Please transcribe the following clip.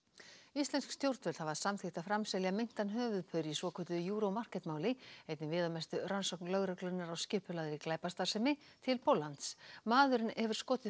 íslensk stjórnvöld hafa samþykkt að framselja meintan höfuðpaur í svokölluðu Euro Market máli einni viðamestu rannsókn lögreglunnar á skipulagðri glæpastarfsemi til Póllands maðurinn hefur skotið